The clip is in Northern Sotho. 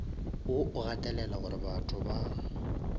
wo o gatelela gorebatho ba